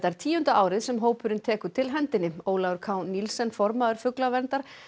tíunda árið sem hópurinn tekur til hendinni Ólafur k formaður fuglaverndar